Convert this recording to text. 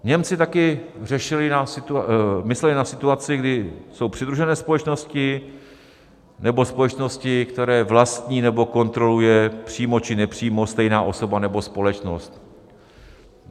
Němci taky mysleli na situaci, kdy jsou přidružené společnosti nebo společnosti, které vlastní nebo kontroluje přímo či nepřímo stejná osoba nebo společnost.